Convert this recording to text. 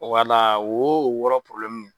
Wala wo o wɔɔrɔ